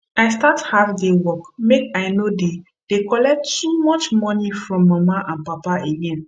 i start half day work make i no dey dey collect too much money from my papa and mama again